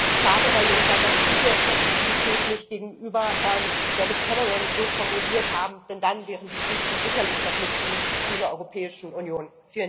Wie schade, Herr Juncker, dass Sie diese Flexibilität nicht gegenüber David Cameron so formuliert haben, denn dann wären die Briten sicherlich noch Mitglied dieser Europäischen Union.